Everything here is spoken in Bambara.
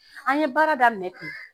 An ye baara daminɛ ten.